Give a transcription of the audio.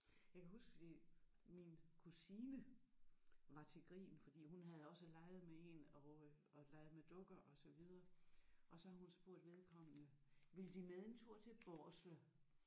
Jeg kan huske fordi min kusine var til grin fordi hun havde også leget med én og øh og leget med dukker og så videre og så havde hun spurgt vedkommende vil De med en tur til Barslev